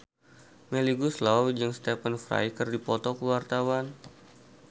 Melly Goeslaw jeung Stephen Fry keur dipoto ku wartawan